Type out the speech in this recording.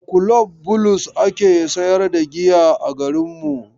A kulob Bulus ake sayar da giya a garinmu.